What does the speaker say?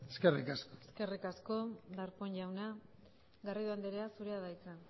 eskerrik asko eskerrik asko darpón jauna garrido andrea zurea da hitza